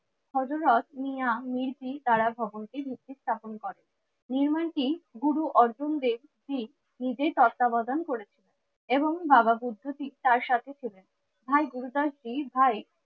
হযরত মিয়া মিরকি কারা খবরটি ভিত্তি স্থাপন করেন। নির্মানটি গুরু অর্জুন দেব শিখ নিজে তত্ত্বাবধান করেছিলেন এবং বাবা বুদ্ধতি তার সাথে ছিলেন। ভাই গুরুদাস জী ভাই